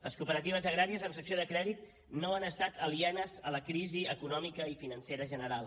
les cooperatives agràries amb secció de crèdit no han estat alienes a la crisi econòmica i financera general